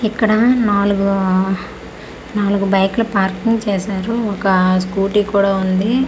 ఇక్కడ నాలుగు నాలుగు బైకు లు పార్కింగ్ చేశారు ఒక స్కూటీ కూడా ఉంది.